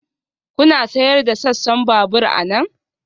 Kuna sayar da sassan babur anan?